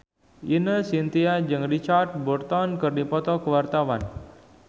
Ine Shintya jeung Richard Burton keur dipoto ku wartawan